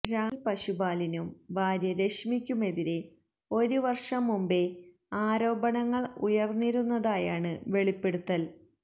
രാഹുൽ പശുപാലിനും ഭാര്യ രശ്മിക്കുമെതിരെ ഒരു വർഷം മുമ്പേ ആരോപണങ്ങൾ ഉയർന്നിരുന്നതായാണ് വെളിപ്പെടുത്തൽ